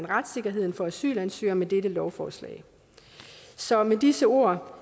retssikkerheden for asylansøgere med dette lovforslag så med disse ord